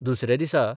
दुसऱ्या दिसा